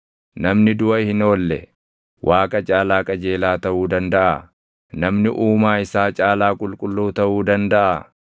‘Namni duʼa hin oolle, Waaqa caalaa qajeelaa taʼuu dandaʼaa? Namni Uumaa isaa caalaa qulqulluu taʼuu dandaʼaa?